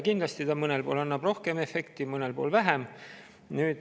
Kindlasti ta mõnel pool annab rohkem efekti, mõnel pool vähem.